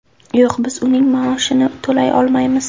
Yo‘q, biz uning maoshini to‘lay olmaymiz.